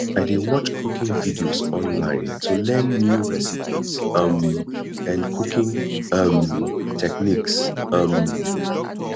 i dey watch cooking videos online to learn new recipes um and cooking um techniques um